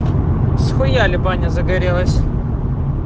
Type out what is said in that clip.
схуяли баня загорелась